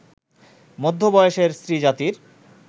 মধ্যবয়সের স্ত্রীজাতির